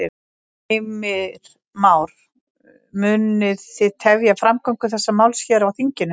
Heimir Már: Munu þið tefja framgöngu þessa máls hér í þinginu?